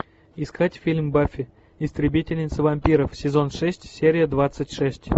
искать фильм баффи истребительница вампиров сезон шесть серия двадцать шесть